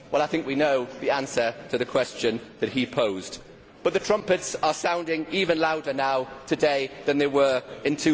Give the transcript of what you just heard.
I think we know the answer to the question that he posed, but the trumpets are sounding even louder now today than they were in